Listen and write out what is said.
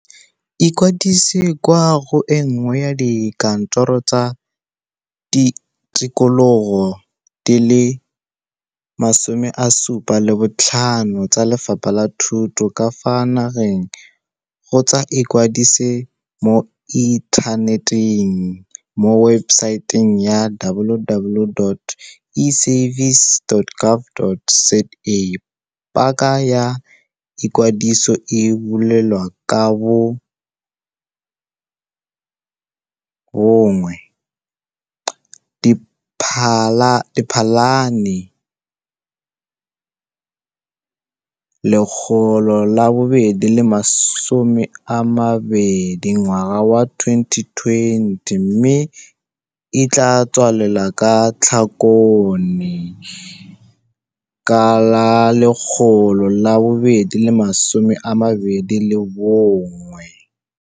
Ikwadise kwa go e nngwe ya dikantoro tsa tikologo di le 75 tsa Lefapha la Thuto ka fa nageng kgotsa ikwadise mo inthaneteng mo webesaeteng ya - www.eservices.gov. za. Paka ya ikwadiso e buletswe ka la bo 1 Diphalane 2020 mme e tla tswalelwa ka Tlhakole 2021.